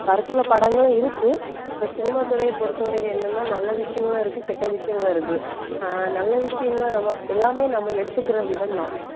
கருத்துள்ள படங்களும் இருக்கு. இப்ப cinema துறையை பொறுத்தவரைக்கும் என்னன்னா நல்ல விஷயங்களும் இருக்கு கெட்ட விஷயங்களும் இருக்கு. அஹ் நல்ல விஷயங்கள் நம்ம எல்லாமே நம்ம எடுத்துக்கிற விதம்தான்.